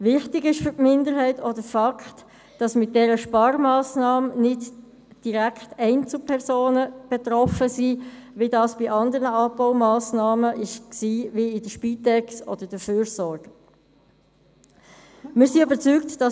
Wichtig ist für die Minderheit auch die Tatsache, dass mit dieser Sparmassnahme nicht direkt Einzelpersonen betroffen sind, wie das bei anderen Abbaumassnahmen wie bei der Spitex und bei der Fürsorge der Fall war.